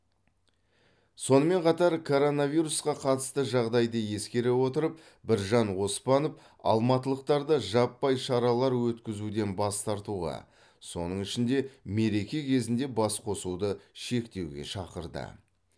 сонымен қатар коронавирусқа қатысты жағдайды ескере отырып біржан оспанов алматылықтарды жаппай шаралар өткізуден бас тартуға соның ішінде мереке кезінде басқосуды шектеуге шақырды